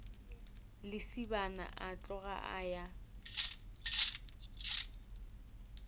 lesibana a tloga a ya